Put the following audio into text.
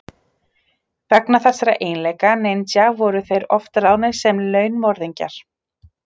Vegna þessara eiginleika ninja voru þeir oft ráðnir sem launmorðingjar.